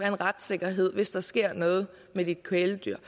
en retssikkerhed hvis der sker noget med dit kæledyr